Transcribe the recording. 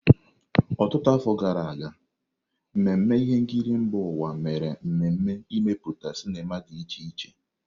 Ọtụtụ afọ gara aga, mmemme ihe nkiri mba ụwa mere mmemme imepụta sinima dị iche iche.